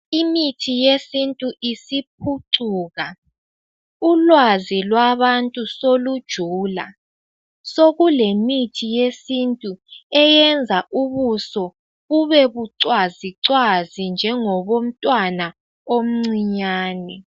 Imithi yesintu isiphucuka ulwazi lwabantu solujula sokulemithi yesintu eyenza ubuso bubebucwazi cwazi njengobo mntwana omncinyane.